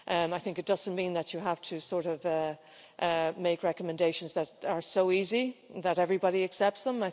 I think it doesn't mean that you have to make recommendations that are so easy that everybody accepts them